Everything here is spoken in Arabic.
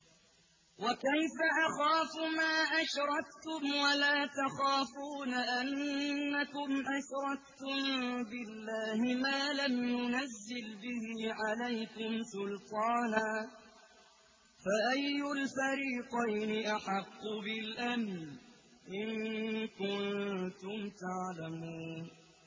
وَكَيْفَ أَخَافُ مَا أَشْرَكْتُمْ وَلَا تَخَافُونَ أَنَّكُمْ أَشْرَكْتُم بِاللَّهِ مَا لَمْ يُنَزِّلْ بِهِ عَلَيْكُمْ سُلْطَانًا ۚ فَأَيُّ الْفَرِيقَيْنِ أَحَقُّ بِالْأَمْنِ ۖ إِن كُنتُمْ تَعْلَمُونَ